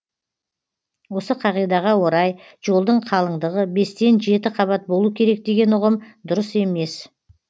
осы қағидаға орай жолдың қалыңдығы бестен жеті қабат болу керек деген ұғым дұрыс емес